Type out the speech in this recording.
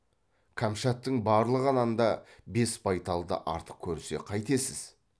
кәмшаттың барлығынан да бес байталды артық көрсе қайтесіз